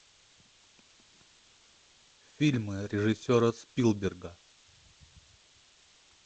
фильмы режиссера спилберга